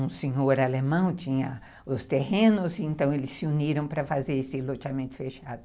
Um senhor alemão tinha os terrenos, então eles se uniram para fazer esse loteamento fechado.